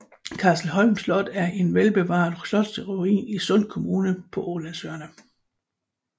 Kastelholm Slot er en velbevaret slotsruin i Sund kommune på Ålandsøerne